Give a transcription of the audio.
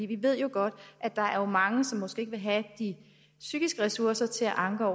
vi ved jo godt at der er mange som ikke vil have de psykiske ressourcer til at anke